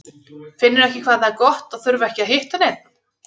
Finnurðu ekki hvað það er gott að þurfa ekki að hitta neinn?